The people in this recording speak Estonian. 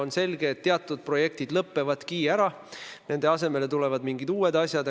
On selge, et teatud projektid lõpevad ära, nende asemele tulevad mingid uued asjad.